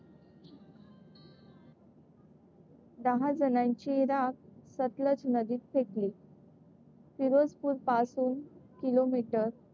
दहा जणांची राख सतलज नदीत फेकली. फिरोजपूरपासून किलोमीटर,